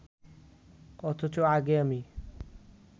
অথচ আগে আমি